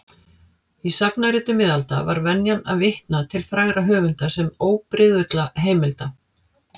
Í sagnaritum miðalda var venjan að vitna til frægra höfunda sem óbrigðulla heimilda.